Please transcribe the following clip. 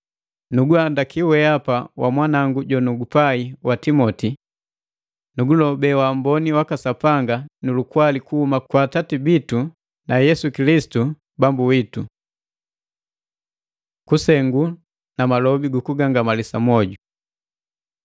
Nuguhandaki wehapa wamwanangu jonugupai wa Timoti. Nukulobe waamboni waka Sapanga nu lukwali kuhuma kwa Atati bitu Yesu Kilisitu Bambu witu. Kusengu na malobi gukugangamalisa mwoju